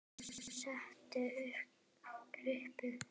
Hún setti upp kryppu.